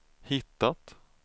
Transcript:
hittat